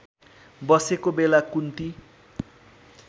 बसेको बेला कुन्ती